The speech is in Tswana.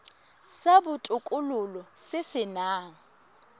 sa botokololo se se nang